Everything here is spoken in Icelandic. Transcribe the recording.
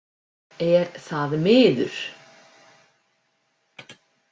Er það miður.